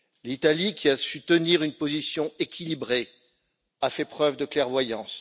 L'Italie, qui a su tenir une position équilibrée, a fait preuve de clairvoyance.